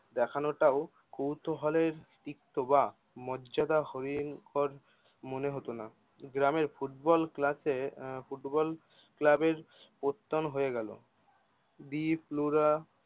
দেখানো টাও কৌতূহল এর তিক্ততা বা মর্যাদা হোয়েং কর মনে হতো না গ্রামে ফুটবল ক্লাসে আহ ফুটবল ক্লাবের প্রত্যান হয়ে গেলো বি ফ্লোরা